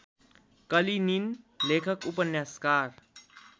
Kalinin लेखक उपन्यासकार